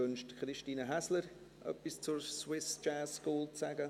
Wünscht Christine Häsler, etwas zur Swiss Jazz School zu sagen?